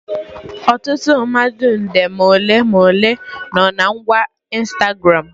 Ọtụtụ mmadụ nde ma ole ma ole no na ngwa Ịnstagramụ